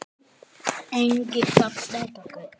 Enginn gat snert okkur.